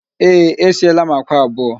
Ee, esieela m àkwá abụọ